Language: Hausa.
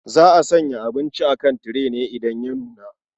Za a sanya abinci a kan tire ne idan ya nuna.